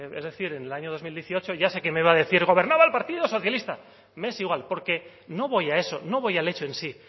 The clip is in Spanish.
es decir en el año dos mil dieciocho ya sé que me va a decir gobernaba el partido socialista me es igual porque no voy a eso no voy al hecho en sí